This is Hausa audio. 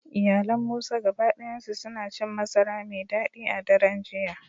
Iyalan Musa gaba dayansu suna cin masara mai dadi a daren jiya